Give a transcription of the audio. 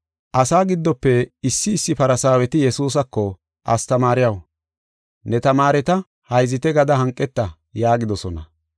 Asaa giddofe issi issi Farsaaweti Yesuusako, “Astamaariyaw, ne tamaareta hayzite gada hanqeta” yaagidosona.